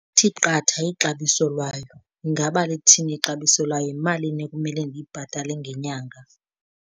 Kuthi qatha ixabiso lwayo. Ingaba lithini ixabiso layo, yimalini ekumele ndiyibhatale ngenyanga?